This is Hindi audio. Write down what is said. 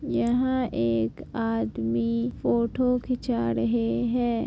यहाँ एक आदमी फोटो खींचा रहे है।